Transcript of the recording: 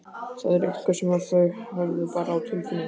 Þetta var eitthvað sem þau höfðu bara á tilfinningunni.